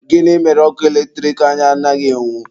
Gịnị mere ọkụ eletrik anyị anaghị enwu?